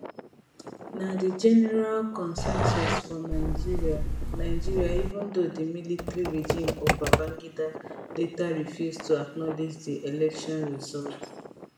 na di general consensus for nigeria nigeria even though di military regime of babangida later refuse to acknowledge di election result